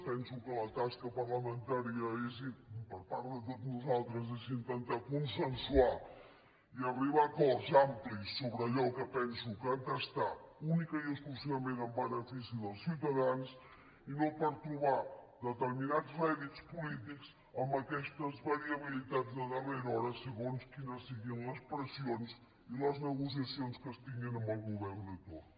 penso que la tasca parlamentària per part de tots nosaltres és intentar consensuar i arribar a acords amplis sobre allò que penso que ha de ser únicament i exclusivament en benefici dels ciutadans i no trobar determinats rèdits polítics amb aquestes variabilitats de darrera hora segons quines siguin les pressions i les negociacions que es tinguin amb el govern de torn